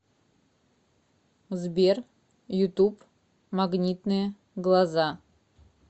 сбер ютуб магнитные глаза